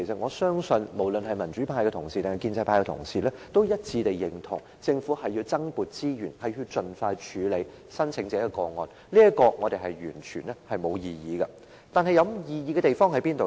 我相信不論是民主派或建制派同事也一致認同，政府須增撥資源盡快處理申請者的個案，對此我們是完全沒有異議的，有異議的地方在哪裏呢？